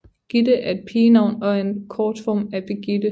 Gitte er et pigenavn og er en kortform af Birgitte